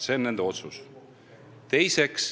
See on nende otsus.